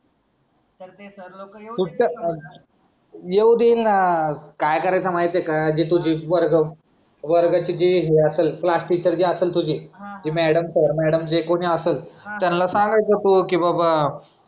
येऊ देईन ना काय करायचं माहितीये का वर्गाचे जे हे आसन क्लास टीचर जी असल तुझी मॅडम सर मॅडम जे कोणी असेल त्यांना सांगायचं तू की बाबा